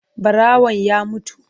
Ɓarawan ya mutu.